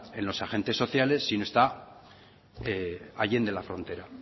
en los agentes sociales sino está allende la frontera